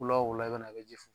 Wula o wula i bɛna i bɛ ji fu